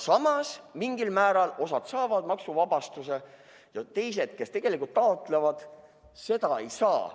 Samas, mingil määral osa saab maksuvabastust ja teised, kes tegelikult taotlevad, seda ei saa.